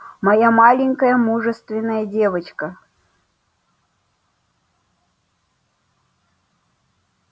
моя маленькая мужественная девочка